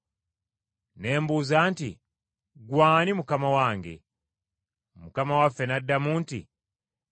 Ne mbuuza nti, ‘Ggwe ani Mukama wange?’ Mukama waffe n’addamu nti, ‘Nze Yesu, gw’oyigganya.